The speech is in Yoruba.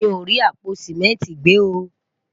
mí o rí àpò simẹnti gbe o